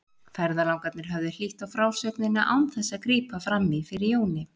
Ferðalangarnir höfðu hlýtt á frásögnina án þess að grípa fram í fyrir Jóni.